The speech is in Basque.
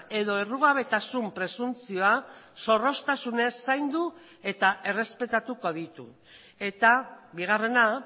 edo errugabetasun presuntzioa zorroztasunez zaindu eta errespetatuko ditu eta bigarrena